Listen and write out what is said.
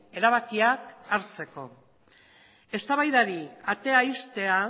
erabakiak hartzeko eztabaidari atea ixtea